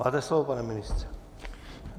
Máte slovo, pane ministře.